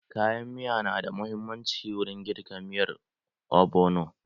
Kayan miya na da muhimmanci wurin girka miyar ogbono.